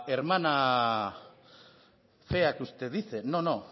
hermana fea que usted dice no